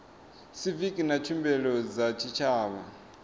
siviki na tshumelo dza tshitshavha